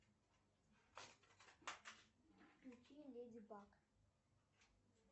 включи леди баг